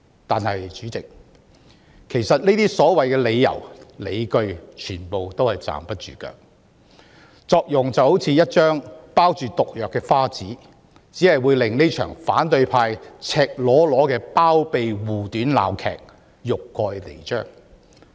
但是，這些所謂理由、理據其實全部都站不住腳，就好像一張包着毒藥的花紙，只會令反對派這場赤裸裸的包庇護短鬧劇欲蓋彌彰。